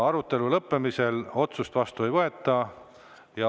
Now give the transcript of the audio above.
Arutelu lõppemisel otsust vastu ei võeta.